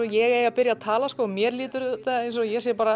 ég eigi að byrja að tala mér líður eins og ég sé